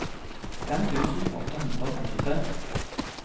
fem tusen åtte hundre og femtitre